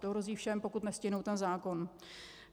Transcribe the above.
To hrozí všem, pokud nestihnou ten zákon.